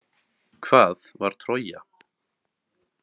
Hvað var Trója?